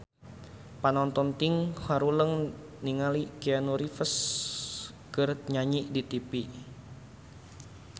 Panonton ting haruleng ningali Keanu Reeves keur nyanyi di tipi